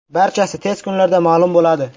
Barchasi tez kunlarda ma’lum bo‘ladi.